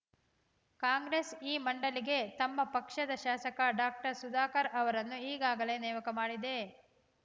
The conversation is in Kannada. ಕಾಂಗ್ರೆಸ್‌ ಈ ಮಂಡಳಿಗೆ ತಮ್ಮ ಪಕ್ಷದ ಶಾಸಕ ಡಾಕ್ಟರ್ ಸುಧಾಕರ್‌ ಅವರನ್ನು ಈಗಾಗಲೇ ನೇಮಕ ಮಾಡಿದೆ